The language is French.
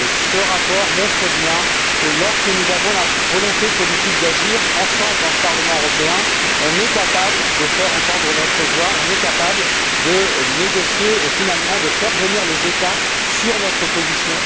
Ce rapport montre bien que lorsque nous avons la volonté politique d'agir ensemble dans ce Parlement européen, nous sommes capables de faire entendre notre voix, de négocier et, finalement, de faire venir les États sur notre position.